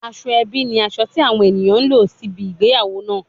Asoebi ni aso ti awon eniyan n lo sibi igbeyawo naa